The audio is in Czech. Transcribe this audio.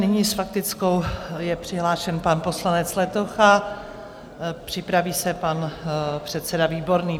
Nyní s faktickou je přihlášen pan poslanec Letocha, připraví se pan předseda Výborný.